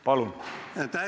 Palun!